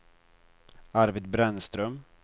Arvid Brännström